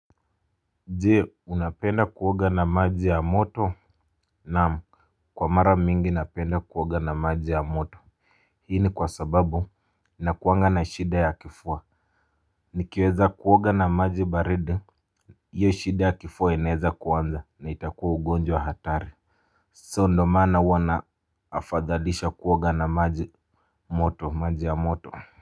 Jee unapenda kuoga na maji ya moto? Naam. Kwa mara mingi napenda kuoga na maji ya moto. Hii ni kwa sababu nakuwanga na shida ya kifua nikiweza kuoga na maji baridi hio shida ya kifua inaeza kuanza na itakuwa ugonjwa hatari. Saa ndio maana huwa naafadhalisha kuoga na maji moto maji ya moto. Kwa hivyo.